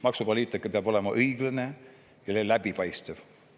Maksupoliitika peab olema õiglane ja läbipaistev.